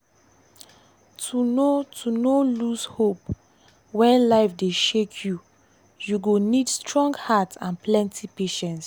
to no to no lose hope when life dey shake you you go need strong heart and plenty patience.